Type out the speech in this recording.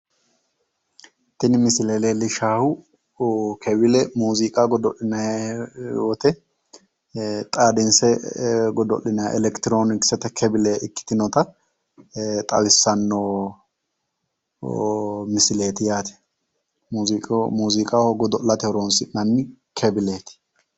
Tini misile leellishshannohu kebile mooziiqa godo'linanni woyte xaaddinse godo'linanni elekitroooniksete kebile ikkitinota xawissanno misileeti yaate mooziiqaho godo'late horoonsi'noonni kebileeti